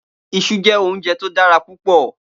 Iṣú jè óunjè to dàrá púpò